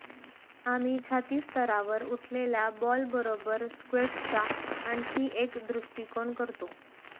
आम्ही छाती स्तरावर उठलेल्या बॉल बरोबर स्क्वेट्सचा आणखी एक दृष्टीकोन करतो